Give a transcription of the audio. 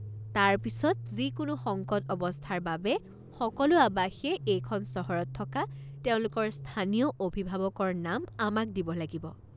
তাৰ পিছত, যিকোনো সংকট অৱস্থাৰ বাবে সকলো আৱাসীয়ে এইখন চহৰত থকা তেওঁলোকৰ স্থানীয় অভিভাৱকৰ নাম আমাক দিব লাগিব।